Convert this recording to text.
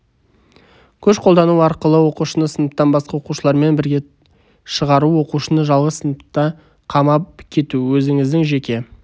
күш қолдану арқылы оқушыны сыныптан басқа оқушылармен бірге шығару оқушыны жалғыз сыныпта қамап кету өзініздің жеке